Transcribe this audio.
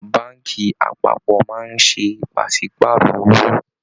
Báànkì apápọ̀ máa ń ṣe pàsípààrọ̀ owó